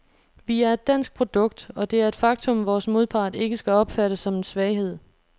Vi er et dansk produkt, og det er et faktum, vores modpart ikke skal opfatte som en svaghed.